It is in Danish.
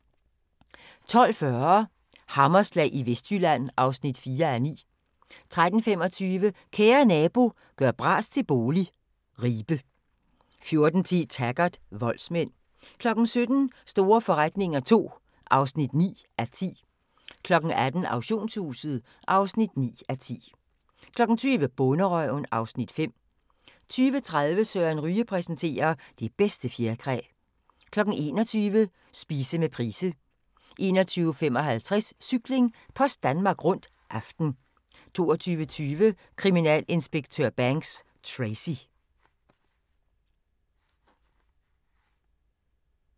12:40: Hammerslag i Vestjylland (4:9) 13:25: Kære nabo – gør bras til bolig – Ribe 14:10: Taggart: Voldsmænd 17:00: Store forretninger II (9:10) 18:00: Auktionshuset (9:10) 20:00: Bonderøven (Afs. 5) 20:30: Søren Ryge præsenterer: Det bedste fjerkræ 21:00: Spise med Price 21:55: Cykling: Post Danmark Rundt - aften 22:20: Kriminalinspektør Banks: Tracy